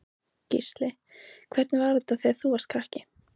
Gísli: Hvernig var þetta þegar þú varst krakki?